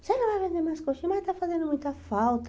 Você não vai vender mais coxinha, mas está fazendo muita falta.